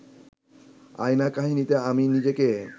আয়না কাহিনীতে আমি নিজেকে